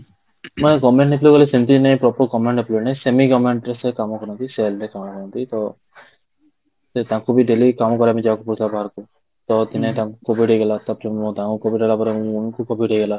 ମାନେ government employee ମାନେ ସେମିତି ନି ନାହିଁ proper government employee ନାଇଁ semi government ରେ ସେ କାମ କରନ୍ତି sale ରେ କାମ କରନ୍ତି ତ ସେ ତାଙ୍କୁ ବି daily କାମ କରିବା ପାଇଁ ଯିବାକୁ ପଡୁଥିଲା ବାହାରକୁ ତ ଦିନେ ତାଙ୍କୁ COVID ହେଇଗଲା ତାଙ୍କୁ COVID ହେଲା ପରେ ମୁଁ ଙ୍କୁ COVID ହେଇଗଲା